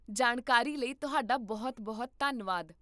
ਜਾਣਕਾਰੀ ਲਈ ਤੁਹਾਡਾ ਬਹੁਤ ਬਹੁਤ ਧੰਨਵਾਦ